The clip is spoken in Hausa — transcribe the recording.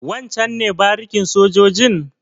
Wancen ne barikin sojojin?